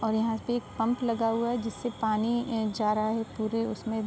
और यहाँ पे एक पम्प लगा हुआ है जिससे पानी न्-जा रहा है। पूरे उसमे --